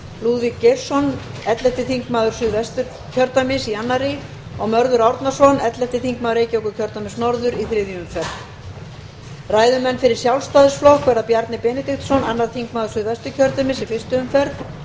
lúðvík geirsson ellefti þingmaður suðvesturkjördæmis í annarri og mörður árnason ellefti þingmaður reykjavíkurkjördæmis norður í þriðju umferð ræðumenn fyrir sjálfstæðisflokk verða bjarni benediktsson annar þingmaður suðvesturkjördæmis í fyrstu umferð